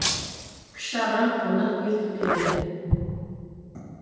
кіші ағам қонақ ертіп келді